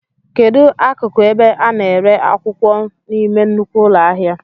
Kedụ ákụkụ ebe a na-ere akwụkwọ n'ime nnukwu ụlọ ahịa?